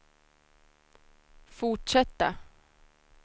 fortsätta